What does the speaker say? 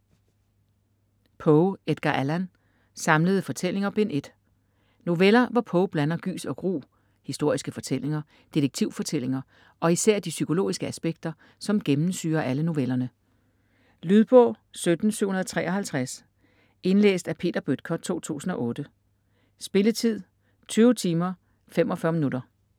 Poe, Edgar Allan: Samlede fortællinger: Bind 1 Noveller, hvor Poe blander gys og gru, historiske fortællinger, detektivfortællinger og især de psykologiske aspekter, som gennemsyrer alle novellerne. Lydbog 17753 Indlæst af Peter Bøttger, 2008. Spilletid: 20 timer, 45 minutter.